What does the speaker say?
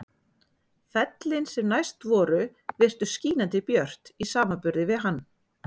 Fellin sem næst voru virtust skínandi björt í samanburði við hann.